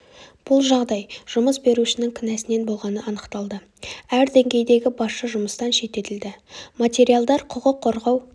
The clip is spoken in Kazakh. бұл жағдай жұмыс берушінің кінәсінен болғаны анықталды әр деңгейдегі басшы жұмыстан шеттетілді материалдар құқық қорғау